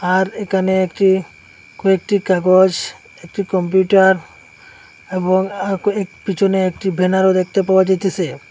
আর একানে একটি কয়েকটি কাগজ একটি কম্পিউটার এবং এ ক পিছনে একটি ব্যানারও দেখতে পাওয়া যাইতেসে।